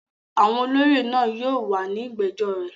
Àwọn olóyè náà yóò wà ní ìgbẹ́jọ́ rẹ̀.